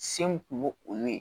Sen kun m'o o ye